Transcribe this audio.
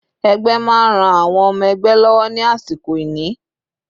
Ẹgbẹ́ máa ń ran àwọn ọmọ ẹgbẹ́ lọ́wọ́ ní àsìkò ìní.